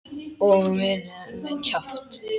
Og verið með kjaft.